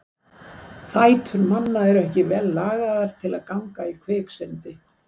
Fætur manna eru ekki vel lagaðir til að ganga í kviksyndi.